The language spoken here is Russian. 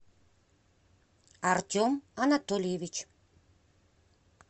артем анатольевич